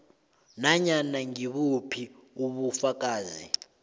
nanyana ngibuphi ubufakazi